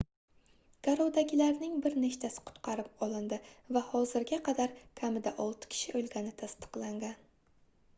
garovdagilarning bir nechtasi qutqarib olindi va hozirga qadar kamida olti kishi oʻlgani tasdiqlangan